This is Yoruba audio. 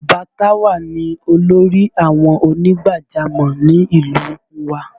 Bàbá Táwà ni olórí àwọn ònígbàjámọ̀ ni ìlú u wa